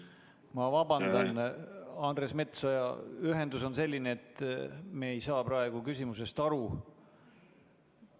Ma vabandan, Andres Metsoja, ühendus on selline, et me ei saa praegu küsimusest aru.